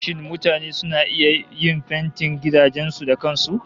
Shin mutane suna iya yin fentin gidajen su da kan su?